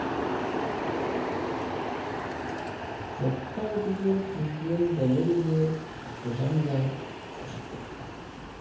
жоқтау деген сөзден дәмелі де ақылжан да шошып кетті